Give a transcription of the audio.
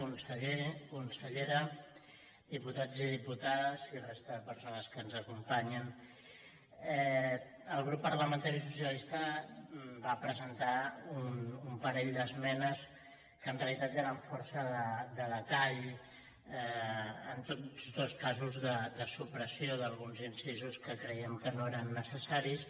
conseller consellera diputats i diputades i resta de persones que ens acompanyen el grup parlamentari socialista va presentar un pa·rell d’esmenes que en realitat eren força de detall en tots dos casos de supressió d’alguns incisos que cre·iem que no eren necessaris